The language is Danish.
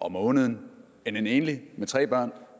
om måneden end en enlig med tre børn